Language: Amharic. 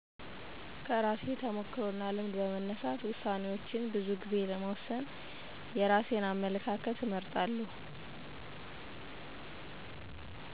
ከራሴ ተሞክሮ እና ልምድ በመነሳት የራሴን አመለካከት እመርጣለሁ